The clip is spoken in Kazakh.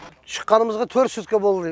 шыққанымызға төрт сутка болды